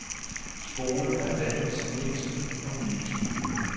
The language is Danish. Skolen er landets mindste og nyeste.